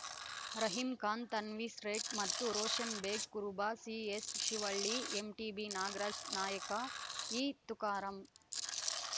ರಹೀಂ ಖಾನ್‌ ತನ್ವೀರ್‌ಸೇಠ್‌ ಮತ್ತು ರೋಷನ್‌ ಬೇಗ್‌ ಕುರುಬ CS Shivalli MTB Nagaraj ನಾಯಕ ಇ ತುಕಾರಾಂ